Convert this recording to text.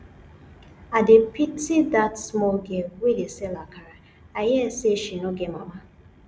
i dey pity dat small girl wey dey sell akara i hear say she no get mama